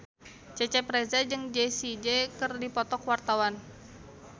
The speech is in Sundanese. Cecep Reza jeung Jessie J keur dipoto ku wartawan